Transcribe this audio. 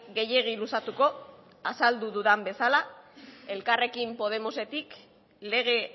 gehiegi luzatuko azaldu dudan bezala elkarrekin podemosetik lege